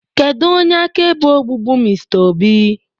kedu onye akaebe ogbugbu Mr obi?